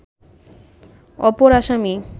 অপর আসামী